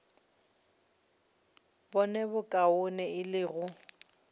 bone bokaone e le go